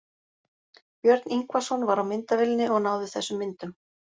Björn Ingvarsson var á myndavélinni og náði þessum myndum.